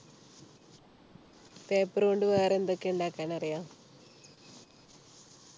paper കൊണ്ട് വേറെ എന്തൊക്കെ ഉണ്ടാക്കാൻ അറിയാം